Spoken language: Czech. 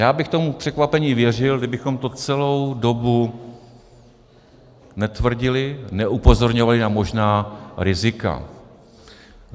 Já bych tomu překvapení věřil, kdybychom to celou dobu netvrdili, neupozorňovali na možná rizika.